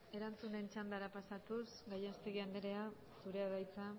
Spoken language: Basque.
erantzunen txandara pasatuz gallastegui andrea zurea da hitza